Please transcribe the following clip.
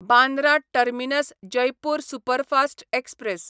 Bandra terminus Jaipur superfast express